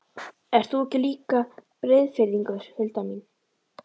Ert þú ekki líka Breiðfirðingur, Hulda mín?